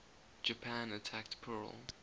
japan attacked pearl